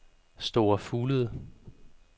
Store Fuglede